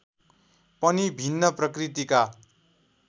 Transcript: पनि भिन्न प्रकृतिका